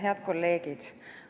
Head kolleegid!